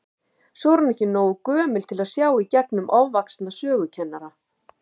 Svo er hún ekki nógu gömul til að sjá í gegnum ofvaxna sögukennara.